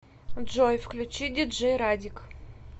джой включи диджей радик